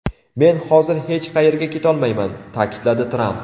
Men hozir hech qayerga ketolmayman”, ta’kidladi Tramp.